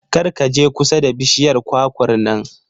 Kar ka je kusa da bishiyar kwakwar nan.